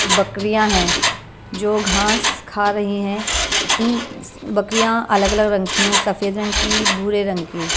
बकरियां हैं जो घास खा रही हैं इन बकरियां अलग-अलग रंग की हैं सफेद रंग की बूरे रंग की।